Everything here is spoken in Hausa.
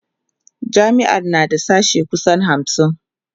jami'ar na da sashe kusan hamsin